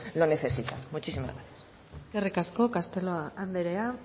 lo necesitan muchísimas gracias eskerrik asko castelo andrea